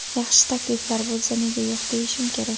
Yaxshi takliflar bo‘lsa, nega yo‘q deyishim kerak.